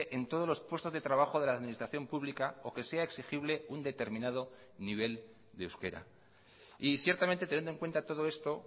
en todos los puestos de trabajo de la administración pública o que sea exigible un determinado nivel de euskera y ciertamente teniendo en cuenta todo esto